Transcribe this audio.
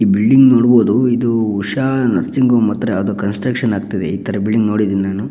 ಈ ಬಿಲ್ಡಿಂಗ್ ನೋಡಬಹುದು ಇದು ಉಷಾ ನರ್ಸಿಂಗ್ ಹೋಂ ಹತ್ರ ಯಾವುದೊ ಕನ್ಸ್ಟ್ರಕ್ಷನ್ ಆಗ್ತಿದೆ ಈ ತರ ಬಿಲ್ಡಿಂಗ್ ನೋಡಿದ್ದೀನಿ.